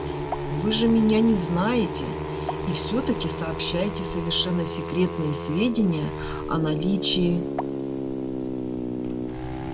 вы же меня не знаете и всё таки сообщаете совершенно секретные сведения о наличии